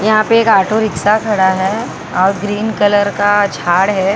यहां पे एक ऑटो रिक्शा खड़ा है और ग्रीन कलर का झाड़ है।